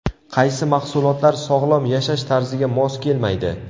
Qaysi mahsulotlar sog‘lom yashash tarziga mos kelmaydi?.